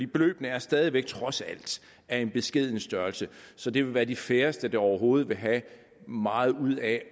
beløbene er stadig væk trods alt af en beskeden størrelse så det vil være de færreste der overhovedet vil have meget ud af